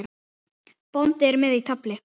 Bóndi er með í tafli.